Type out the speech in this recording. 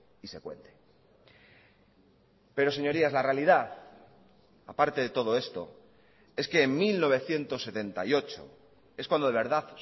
y se cuente pero señorías la realidad a parte de todo esto es que en mil novecientos setenta y ocho es cuando de verdad